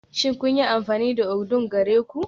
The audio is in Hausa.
Shin sun yi amfani da odunng gare ku?